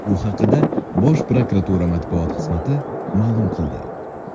Bu haqda Bosh prokuratura matbuot xizmati ma’lum qildi .